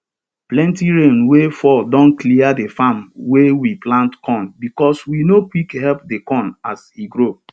plenti rain wey fall don clear the farm wey we plant corn bcos we no quick help the corn as e grow